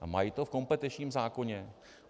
A mají to v kompetenčním zákoně?